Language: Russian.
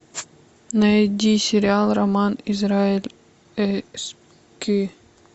найди сериал роман израиль